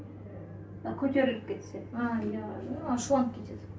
көтеріліп кетсе а иә ашуланып кетеді